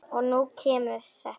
Og nú kemur þetta.